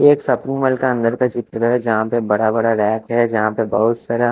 ये एक shopping mall का अंदर का चित्र है जहाँ पे बड़ा -बड़ा रैक है जहाँ पे बहुत सारा --